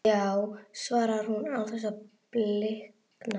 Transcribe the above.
Já, svarar hún án þess að blikna.